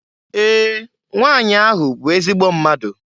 Ee! Nwanyị ahụ bụ ezigbo mmadụ.